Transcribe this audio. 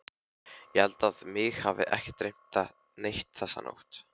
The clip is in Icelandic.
Ég held að mig hafi ekki dreymt neitt þessa nótt.